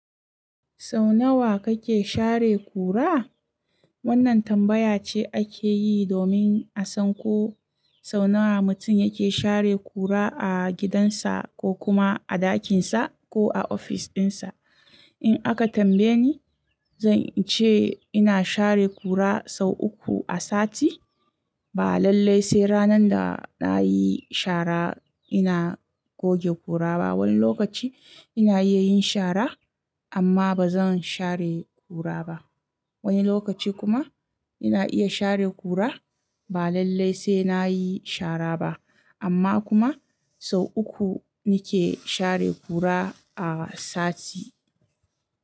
Sau nawa kake share kura? Wannan tambaya ce ake yi domin a san ko sau nawa mutum yake share kura a gidansa ko kuma a ɗakinsa ko a ofis ɗinsa. In aka tambaye ni, zan ce ina share kura sau uku a sati. Ba lallai sai ranar da na yi shara ina goge kura ba. Wani lokaci ina iya yin shara amma ba zan share kura ba. Wani lokaci kuma ina iya share kura ba lallai sai na yi shara ba. Amma kuma sau uku ni ke share kura a sati.